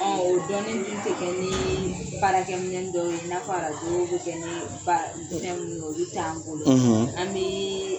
; O dɔɔni n'u te kɛ ni baarakɛminɛniw dɔw'a ye i na fɔ Arajo bɛ kɛ ni minɛn mun ye olu t' an bolo; an